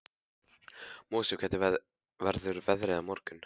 Mosi, hvernig verður veðrið á morgun?